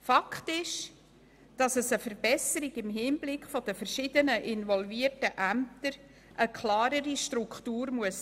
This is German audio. Fakt ist, dass eine Verbesserung im Hinblick auf die verschiedenen involvierten Ämter notwendig ist und dass es eine klarere Struktur geben muss.